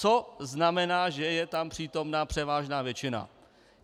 Co znamená, že je tam přítomna převážná většina.